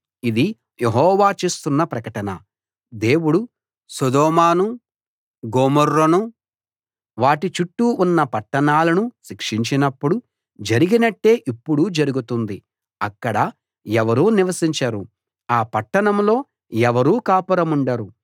ఇది యెహోవా చేస్తున్న ప్రకటన దేవుడు సొదొమనూ గొమొర్రానూ వాటి చుట్టూ ఉన్న పట్టణాలనూ శిక్షించినప్పుడు జరిగినట్టే ఇప్పుడూ జరుగుతుంది అక్కడ ఎవరూ నివసించరు ఆ పట్టణంలో ఎవరూ కాపురముండరు